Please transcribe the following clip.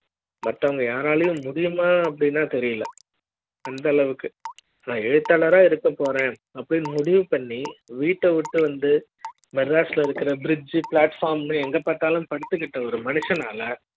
மத்த வங்க யாரா லையும் முடியுமா அப்படி னா தெரியல அந்த அளவுக்கு எழுத்தாளர் ஆ இருக்க போறேன்அப்டி ன்னு முடிவு பண்ணி வீட்ட விட்டு வந்து மெட்ராசுல இருக்குற bridge flatform எங்க பார்த்தாலும் படுத்து கிட்டு ஒரு மனுஷனால